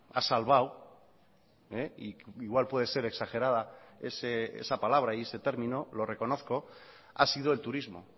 ha salvado y igual puede ser exagerada esa palabra y ese término lo reconozco ha sido el turismo